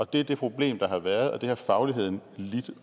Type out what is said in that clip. det er det problem der har været og det har fagligheden lidt